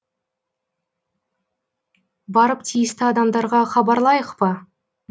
барып тиісті адамдарға хабарлайық па